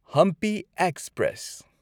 Hampi express